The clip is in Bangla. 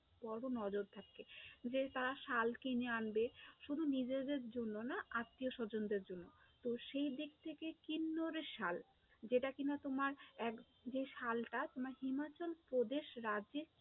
বড়ো নজর থাকে যে তারা শাল কিনে আনবে, শুধু নিজেদের জন্যে না আত্মীয়-স্বজনদের জন্য, তো সেই দিক থেকে কিন্নরের শাল, যেটা কি না তোমার যে শালটা তোমার হিমাচলপ্রদেশ রাজ্যে।